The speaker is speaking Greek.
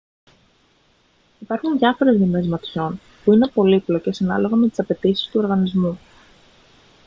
υπάρχουν διάφορες δομές ματιών που είναι πολύπλοκες ανάλογα με τις απαιτήσεις του οργανισμού